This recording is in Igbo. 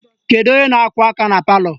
Kedu onye na-akụ aka na palọ?